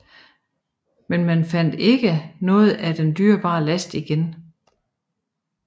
Men man fandt ikke noget af den dyrebare last igen